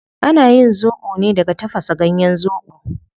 Ana yin zobo ne daga tafasa ganyen zobo